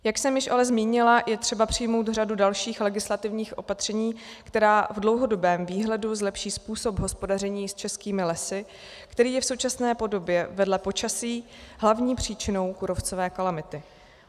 Jak jsem již ale zmínila, je třeba přijmout řadu dalších legislativních opatření, která v dlouhodobém výhledu zlepší způsob hospodaření s českými lesy, který je v současné podobě vedle počasí hlavní příčinou kůrovcové kalamity.